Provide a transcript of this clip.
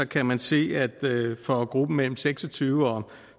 kan man se at for gruppen mellem seks og tyve og